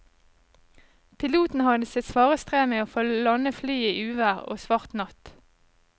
Piloten hadde sitt svare strev med å få landet flyet i uvær og svart natt.